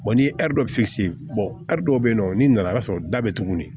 ni ye ɛri dɔ dɔ bɛ yen nɔ n'i nana y'a sɔrɔ da bɛ tuguni